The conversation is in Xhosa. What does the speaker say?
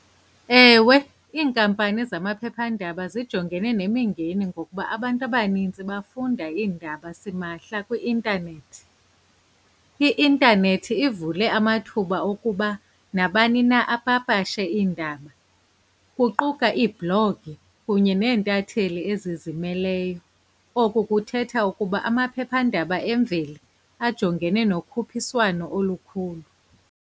Ewe, iinkampani zamaphephandaba zijongene nemingeni ngokuba abantu abaninzi bafunda iindaba simahla kwi-intanethi. I-intanethi ivule amathuba okuba nabani na apapashe iindaba, kuquka ii-blog kunye nentatheli ezizimeleyo. Oku kuthetha ukuba amaphephandaba emveli ajongene nokhuphiswano olukhulu.